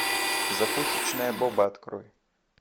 закусочная боба открой